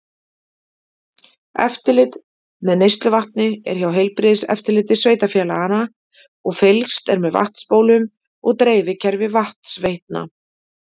Eftirlit með neysluvatni er hjá heilbrigðiseftirliti sveitafélaganna og fylgst er með vatnsbólum og dreifikerfi vatnsveitna.